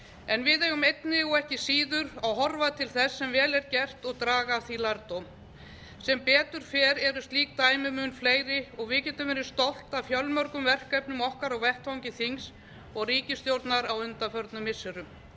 en við eigum einnig og ekki síður að horfa til þess sem vel er gert og draga af því lærdóm sem betur fer eru slík dæmi mun fleiri og við getum verið stolt af fjölmörgum verkefnum okkar á vettvangi þings og ríkisstjórnar á undanförnum missirum